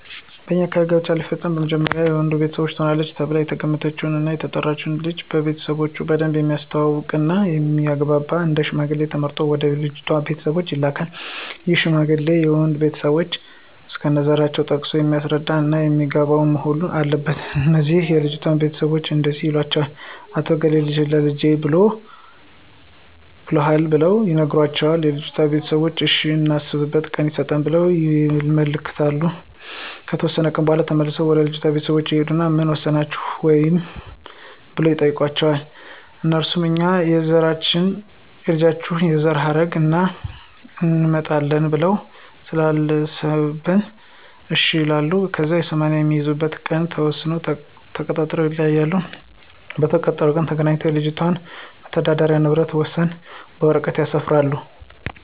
በኛ አካባቢ ጋብቻ ሲፈፀም መጀመሪያ የወንዱ ቤተሰቦች ትሆናለች ተብላ የተገመተችውን እና የተጠናችውን ልጅ ቤተሰቦቾን በደንብ የሚተዋወቅ እና የሚግባባቸውን አንድ ሽማግሌ ተመርጦ ወደ ልጅቷ ቤተሰቦች ይላካን ይህ ሽማግሌ የወንዱንም ቤተሰቦች እስከነዘራቸው ጠቅሶ የሚያስረዳ እና የሚያግባባ መሆን አለበት። ከዚያ ለልጅቷ ቤተሰቦች እንዲህ ይላቸዋል "አቶ እገሌ ልጅህን ለልጀ ብሎሀል"ብሎ ይነግራቸዋል የልጅቷ ቤተሰቦችም እሽ እናስብበት ቀን ይሰጠን ብለው ይልኩታል። ከተወሰነ ቀን በኋላ ተመልሶ ወደ ልጅቷ ቤተሰቦች ይሂድና ምን ወሰናችሁ ወይ ብሎ ይጠይቃቸዋል? አነሱም እኛ የልጁን የዘረሀረግ ስላጣራን እና እንመጣጠናለን ብለን ስላሰበን እሽ ይሉታል። ከዚያ 80 የሚይዙበትን ቀን ተወሳስነውና ተቃጥረው ይለያያሉ። በተቀጣጠሩበት ቀን ተገናኝተው የልጆችን የመተዳደሪ ንብረት ወሰነው በወረቀት ያሰፍራሉ።